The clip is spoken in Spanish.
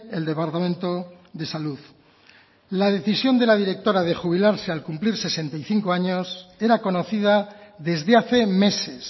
el departamento de salud la decisión de la directora de jubilarse al cumplir sesenta y cinco años era conocida desde hace meses